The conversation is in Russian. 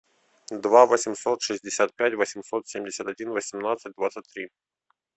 два восемьсот шестьдесят пять восемьсот семьдесят один восемнадцать двадцать три